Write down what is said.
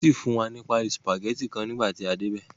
Wọ́n fún wa ní paálí sùpàgẹ́tì kan fún nígbà tí a dé ibẹ̀.